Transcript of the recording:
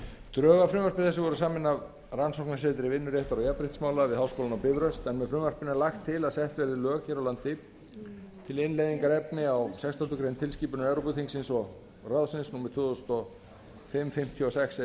drög að frumvarpi þessu voru samin af rannsóknasetri vinnuréttar og jafnréttismála við háskólann á bifröst en með frumvarpinu er lagt til að sett verði lög hér á landi til innleiðingar á efni sextándu grein tilskipunar evrópuþingsins og ráðsins númer tvö þúsund og fimm fimmtíu og sex e